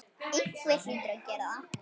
Einhver hlýtur að gera það.